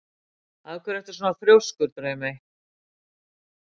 Af hverju ertu svona þrjóskur, Draumey?